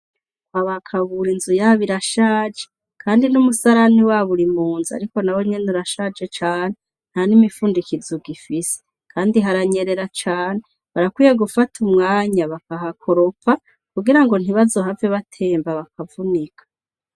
Kwaba Kabura inzu yabo irashaje kandi n'umusarani wabo uri munzu. Ariko nawo nyene urashaje cane, ntan'imifundikizo ugifise. Kandi haranyerera cane, barakwiye gufata umwanya bakahakoropa, kugira ngo ntibazohave batemba bakavunika.